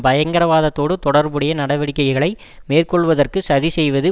பயங்கரவாதத்தோடு தொடர்புடைய நடவடிக்கைகளை மேற்கொள்வதற்கு சதி செய்வது